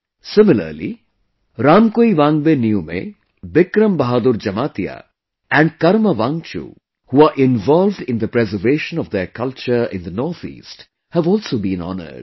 Similarly, Ramkuiwangbe Niume, Bikram Bahadur Jamatia and Karma Wangchu, who are involved in the preservation of their culture in the NorthEast, have also been honoured